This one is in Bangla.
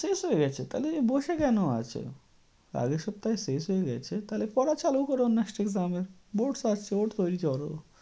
শেষ হয়ে গেছে? তাহলে বসে কেন আছ? আগের সপ্তাহেই শেষ হয়ে গেছে তাহলে পড়া চালু কর next exam এর। Board ।